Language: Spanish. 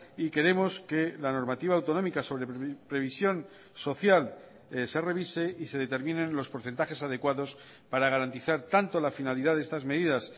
y queremos que la normativa autonómica sobre previsión social se revise y se determinen los porcentajes adecuados para garantizar tanto la finalidad de estas medidas